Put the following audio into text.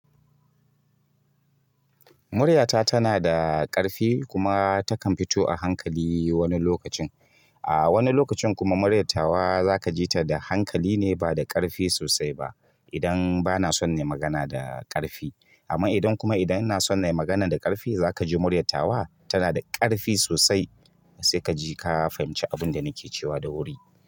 Muryata tana da ƙarfi kuma takan fito a hankali wani lokacin. A wani lokacin kuma muryatawa zaka ji ta da hankali ne ba da ƙarfi sosai ba idan bana son nai magana da ƙarfi. Amma idan kuma idan ina son na yi magana da ƙarfi, za ka ji muryatawa tana da ƙarfi sosai. Sai ka ji ka fahimci abin da nake cewa da wuri.